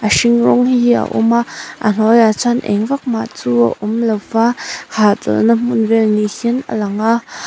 a hring rawng hi a awm a a hnuaiah chuan eng vak mah chu a awm lo a hahchawlh na hmun vel ni hian a lang a.